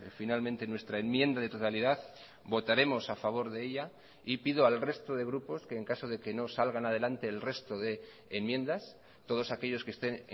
finalmente nuestra enmienda de totalidad votaremos a favor de ella y pido al resto de grupos que en caso de que no salgan adelante el resto de enmiendas todos aquellos que estén